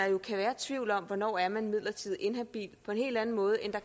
jo kan være tvivl om hvornår man er midlertidigt inhabil på en helt anden måde end